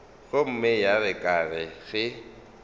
gomme ya re ka ge